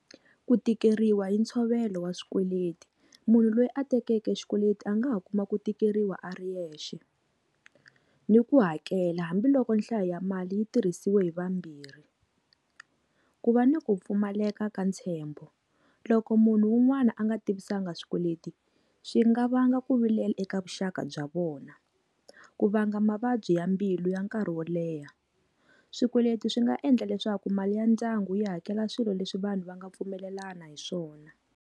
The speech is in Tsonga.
Ku tikeriwa hi ntshovelo wa swikweleti munhu loyi a tekeke xikweleti a nga ha kuma ku tikeriwa a ri yexe ni ku hakela hambiloko nhlayo ya mali yi tirhisiwa hi vambirhi. Ku va ni ku pfumaleka ka ntshembo loko munhu wun'wani a nga tivisanga swikweleti swi nga va nga ku vilela eka vuxaka bya vona ku vanga mavabyi ya mbilu ya nkarhi wo leha. Swikweleti swi nga endla leswaku mali ya ndyangu yi hakela swilo leswi vanhu va nga pfumelelani hi swona.